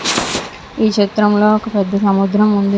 ఈ చిత్రంలో ఒక పెద్ధ సముద్రం ఉంది.